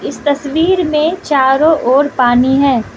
इस तस्वीर मे चारों ओर पानी है।